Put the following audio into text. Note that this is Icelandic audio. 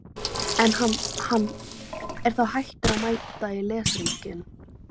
En hann- hann er þá hættur að mæta í leshringinn.